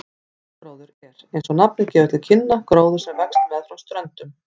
Strandgróður er, eins og nafnið gefur til kynna, gróður sem vex meðfram ströndum.